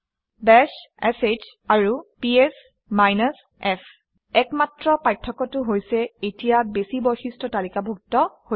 bash sh and PS f একমাত্ৰ পাৰ্থক্যটো হৈছে এতিয়া বেছি বৈশিষ্ট্য তালিকাভুক্ত হৈছে